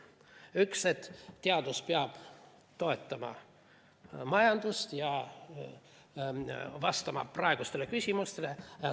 Üks, et teadus peab toetama majandust ja vastama praegustele küsimustele.